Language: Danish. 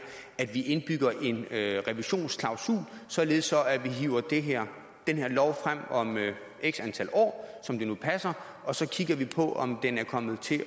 at vi indbygger en revisionsklausul således at vi hiver den her lov frem om x antal år som det nu passer og så kigger vi på om den er kommet til